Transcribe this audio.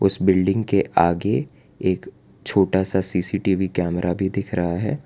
इस बिल्डिंग के आगे एक छोटा सा सी_सी_टी_वी कैमरा भी दिख रहा है।